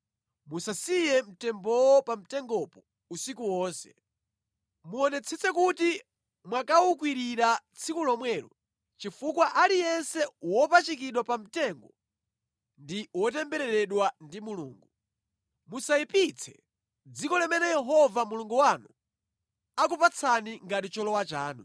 musasiye mtembowo pa mtengopo usiku wonse. Muonetsetse kuti mwakawukwirira tsiku lomwelo, chifukwa aliyense wopachikidwa pamtengo ndi wotembereredwa ndi Mulungu. Musayipitse dziko limene Yehova Mulungu wanu akupatsani ngati cholowa chanu.